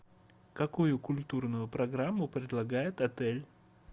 какую культурную программу предлагает отель